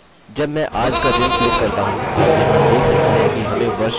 यह हमारे डेटाबेस के अंदर इस संरचना में समायोजित हो गया है